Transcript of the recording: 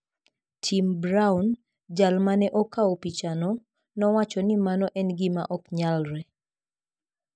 Tim Brown, jal ma ne okawo pichano, nowacho ni mano en gima ok nyalre.